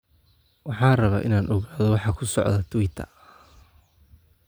Waxaan rabaa inaan ogaado waxa ku socda Twitter